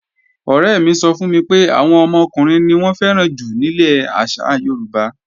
Ọ̀rẹ́ mi sọ fún mi pé, àwọn ọmọkùnrin ni wọ́n fẹ́ràn jù nílẹ̀ àṣà Yorùbá